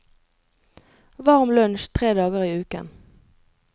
Varm lunsj tre dager i uken.